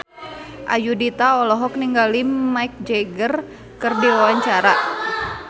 Ayudhita olohok ningali Mick Jagger keur diwawancara